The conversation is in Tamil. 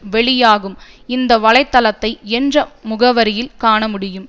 வெளியாகும் இந்த வலை தளத்தை என்ற முகவரியில் காணமுடியும்